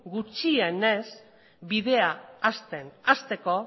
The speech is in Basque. gutxienez bidea hasten hasteko